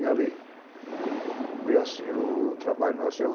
E ali foi assim o trabalho nosso.